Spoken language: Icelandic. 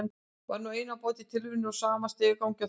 Var nú ein á báti í tilverunni í sama stigagangi og þau.